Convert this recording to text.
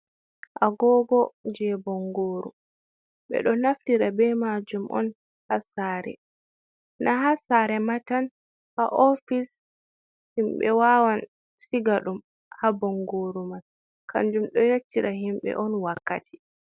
Agogo je bangoru ɓeɗo naftira be majum on ha saare na ha saare matan ha ofis himɓe wawan siga ɗum ha bangoru man kanjum do yaccira himɓe on wakkati.